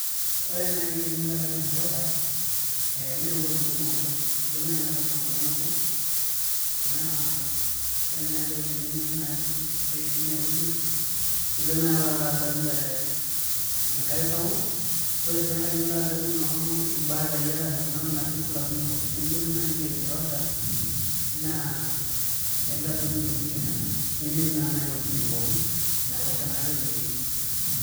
Ore nai tenilo adol enaiposha ee meenkolongi kumok ilo ilo nai enaibosha enkolong nabo naa ore nai entoki ninyor nai aisul te tineweji ilo nai adol ee enkare sapuk ore sii enkae nilo adol noo imbatai arashu tunatokitin naaji flamingo nee enilo nai lake naivasha naa ailo adol intokitin nijo nena nemetii naa nai uwejitin pookin enaiposha naake etumieki.